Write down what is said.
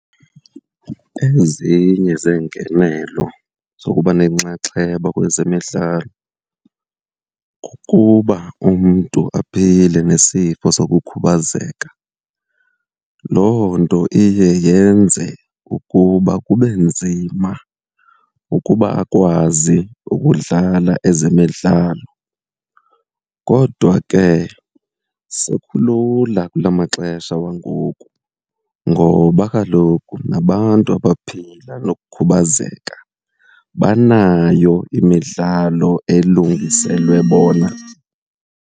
Ezinye zeengenelo zokuba nenxaxheba kwezemidlalo kukuba umntu aphile nesifo sokukhubazeka, loo nto iye yenze ukuba kube nzima ukuba akwazi ukudlala ezemidlalo. Kodwa ke sekulula kula maxesha wangoku ngoba kaloku nabantu abaphila nokukhubazeka banayo imidlalo elungiselwe bona.